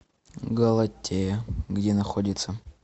галатея где находится